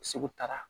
Segu taara